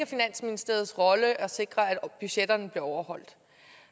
finansministeriets rolle at sikre at budgetterne bliver overholdt